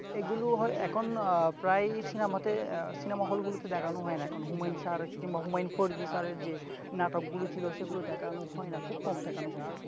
এগুলো হয় এখনতো আহ প্রায় সিনেমাতে সিনামা হলগুলোতে দেখানো হয় না। হুমায়ূন স্যার বা হুমায়ূন ফরিদি স্যারের যে নাটকগুলো ছিল সেগুলো দেখানো হয় না। খুব কম দেখানো হয়।